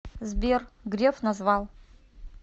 сбер греф назвал